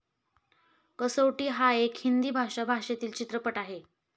कसौटी हा एक हिंदी भाषा भाषेतील चित्रपट आहे.